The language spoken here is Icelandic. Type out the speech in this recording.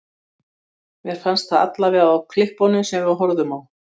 Þannig hefur með rökræðum verið aukið við þekkingu mannkyns.